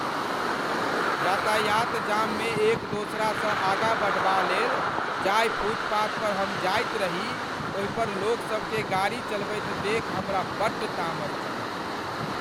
यातायात जाममे एक दोसरसँ आगाँ बढ़बा लेल जाहि फुटपाथ पर हम जाइत रही ओहि पर लोकसभकेँ गाड़ी चलबैत देखि हमरा बड्ड तामस चढ़ल।